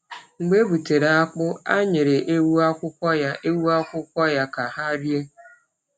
Mgbe e butere akpụ, a nyere ewu akwụkwọ ya ewu akwụkwọ ya ka ha rie.